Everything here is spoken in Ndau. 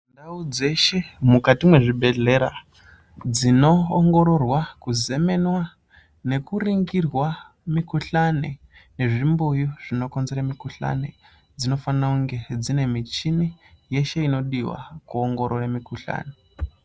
Ndau dzeshe mukati mezvibhehleya dzinoongororwa kuzemenwa nekunongirwa mukuhlani nezvimbuyu zvinokonzera mukuhlani dzinofanira kunge dzine muchini yeshe inodiwa kuongorora mukuhlani.